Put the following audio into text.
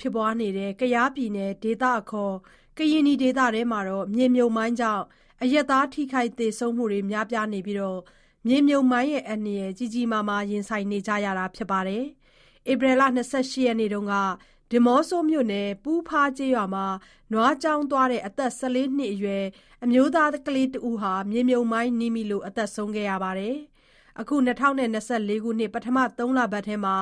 ဖြစ်ပွားနေတဲ့ ကရင်နီဒေသထဲမှာ မြေမြှုပ်မိုင်းကြောင့် အရပ်သားထိခိုက်သေဆုံးမှု များပြားနေပြီး မြေမြှုပ်မိုင်းအန္တရာယ် ကြီးကြီးမားမား ရင်ဆိုင်ကြနေရပါတယ်။ ဧပြီ ၂၈ ရက်နေ့တုန်းက ဒီးမော့ဆိုမြို့နယ် ပူးဖားကျေးရွာမှာ နွားကျောင်းသွားတဲ့ အသက် ၁၄ နှစ်အရွယ် အမျိုးသားကလေးတစ်ဦးဟာ မြေမြှုပ်မိုင်းနင်းမိလို့ သေဆုံးခဲ့ပါတယ်။ အခု ၂၀၂၄ ခုနှစ် ပထမ ၃ လပတ်ထဲမှာ